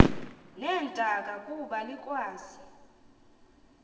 neentaka kuba likwazi